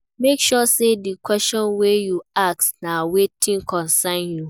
Make sure say di question wey you ask na wetin concern you